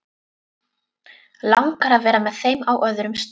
Langar að vera með þeim á öðrum stað.